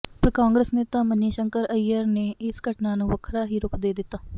ਪਰ ਕਾਂਗਰਸ ਨੇਤਾ ਮਨੀਸ਼ੰਕਰ ਅਈਅਰ ਨੇ ਇਸ ਘਟਨਾ ਨੂੰ ਵੱਖਰਾ ਹੀ ਰੁਖ਼ ਦੇ ਦਿੱਤਾ